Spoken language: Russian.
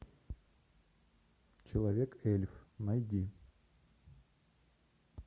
человек эльф найди